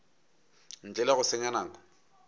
ntle le go senya nako